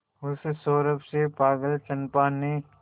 उस सौरभ से पागल चंपा ने